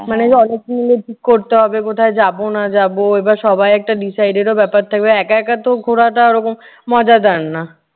মানে কি করতে হবে, কোথায় যাব না যাব এবার সবাই একটা decide এরও ব্যাপার থাকবে। একা একাতো ঘোরাটা ওই রকম মজাদার না।